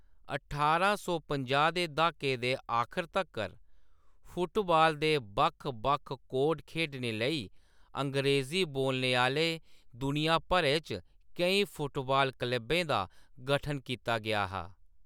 ठारां सौ पंजाह् दे द्हाके दे आखर तक्कर, फुटबॉल दे बक्ख-बक्ख कोड खेढने लेई, अंग्रेजी बोलने आह्‌‌‌ले दुनिया भरै च केईं फुटबॉल क्लबें दा गठन कीता गेआ हा।